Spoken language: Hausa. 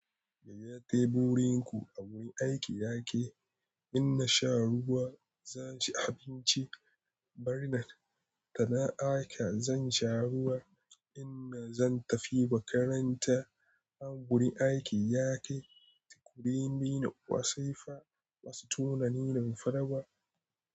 Gaya teburin ku a wurin aiki ya yake. In na sha ruwa, za ci abinci. Barnan tada aka, zan sha ruwa. In na zan tafi makaranta, a wurin aiki yake. Sikurini wasifa, wasu tunanin farba.